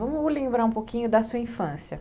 Vamos lembrar um pouquinho da sua infância.